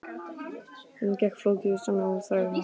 Söfnunin gekk hægt og flókið var að semja um útlausn þrælanna.